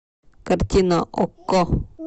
картина окко